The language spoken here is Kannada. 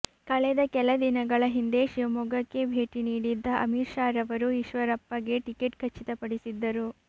ಕಳೆದ ಕೆಲ ದಿನಗಳ ಹಿಂದೆ ಶಿವಮೊಗ್ಗಕ್ಕೆ ಭೇಟಿ ನೀಡಿದ್ದ ಅಮಿತ್ ಶಾರವರು ಈಶ್ವರಪ್ಪಗೆ ಟಿಕೆಟ್ ಖಚಿತಪಡಿಸಿದ್ದರು